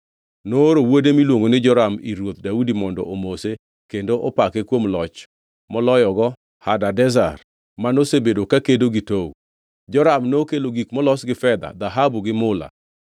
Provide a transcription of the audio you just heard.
nooro wuode miluongo ni Joram ir Ruoth Daudi mondo omose kendo opake kuom loch moloyogo Hadadezer, manosebedo kakedo gi Tou. Joram nokelo gik molos gi fedha, dhahabu to gi mula.